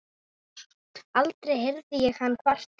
Aldrei heyrði ég hann kvarta.